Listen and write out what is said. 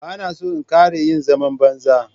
Ba na so in ƙara yin zaman banza.